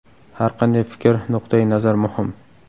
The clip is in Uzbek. Har qanday fikr, nuqtai nazar muhim.